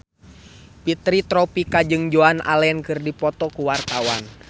Fitri Tropika jeung Joan Allen keur dipoto ku wartawan